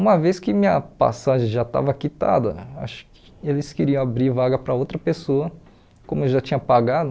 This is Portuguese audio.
Uma vez que minha passagem já estava quitada, acho que eles queriam abrir vaga para outra pessoa, como eu já tinha pagado,